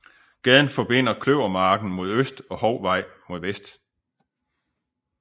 Gaden forbinder Kløvermarken mod øst og Hovvej mod vest